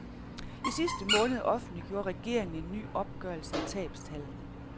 I sidste måned offentliggjorde regeringen en ny opgørelse af tabstallene.